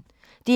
DR P1